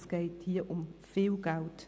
Es geht hier um viel Geld.